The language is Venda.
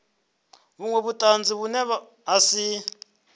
vhunwe vhutanzi vhune ha si